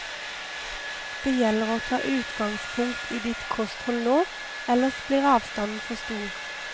Det gjelder å ta utgangspunkt i ditt kosthold nå, ellers blir avstanden for stor.